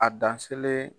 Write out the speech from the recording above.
A dan sele